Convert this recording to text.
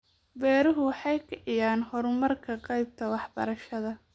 Beeruhu waxa ay kiciyaan horumarka qaybta waxbarashada.